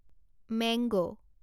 mango